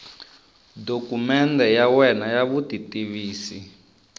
dokumende ya wena ya vutitivisi